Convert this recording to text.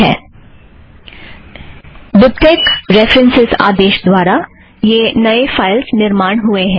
BibTeX dot references आदेश द्वारा यह नए फ़ाइलस निर्माण हुएं हैं